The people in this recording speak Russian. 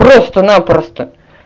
просто напросто